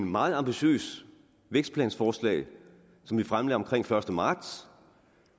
meget ambitiøst vækstplansforslag som vi fremlagde omkring den første marts